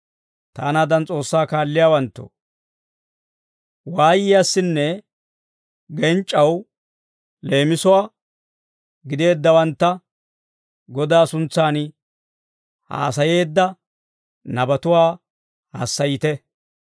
Taanaadan S'oossaa kaalliyaawanttoo, waayiyaassinne genc'c'aw leemisuwaa gideeddawantta, Godaa suntsan haasayeedda nabatuwaa hassayite.